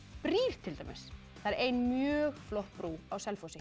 brýr til dæmis það er ein mjög flott brú á Selfossi